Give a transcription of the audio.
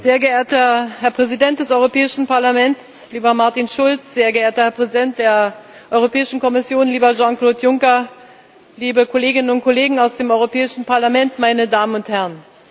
Sehr geehrter Herr Präsident des Europäischen Parlaments, lieber Martin Schulz, sehr geehrter Herr Präsident der Europäischen Kommission, lieber Jean Claude Juncker, liebe Kolleginnen und Kollegen aus dem Europäischen Parlament, meine Damen und Herren!